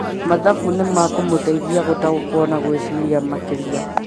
Mathabu nĩ makũmũteithia gũtaũkwo na gwĩciria makĩria